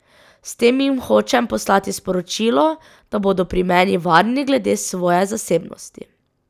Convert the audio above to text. S tem jim hočem poslati sporočilo, da bodo pri meni varni glede svoje zasebnosti.